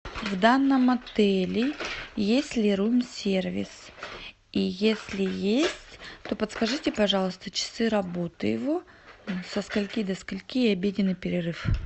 в данном отеле есть ли рум сервис и если есть то подскажите пожалуйста часы работы его со скольки до скольки и обеденный перерыв